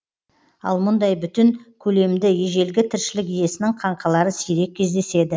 ал мұндай бүтін көлемді ежелгі тіршілік иесінің қаңқалары сирек кездеседі